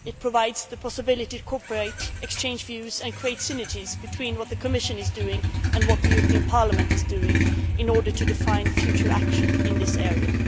it provides the possibility to cooperate, exchange views and create synergies between what the Commission is doing and what the European Parliament is doing in order to define future action in this area.